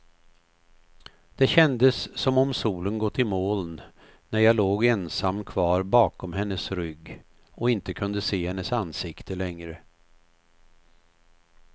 Det kändes som om solen gått i moln, när jag låg ensam kvar bakom hennes rygg och inte kunde se hennes ansikte längre.